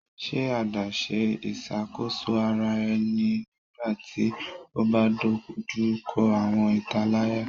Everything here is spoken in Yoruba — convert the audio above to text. Ṣe adaṣe iṣakoso ara ẹni nigbati o ba dojuko awọn italaya